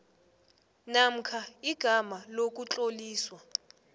namkha igama lokutloliswa